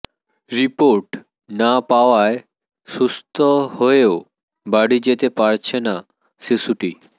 report না পাওয়ায় সুস্থ হয়েও বাড়ি যেতে পারছে না শিশুটি